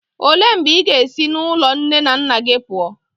Olee mgbe ị ga-esi n'ụlọ nne na nna gị pụọ?